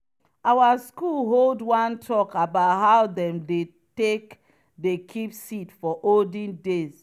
our school hold one talk about how dem dem take dey keep seed for olden days.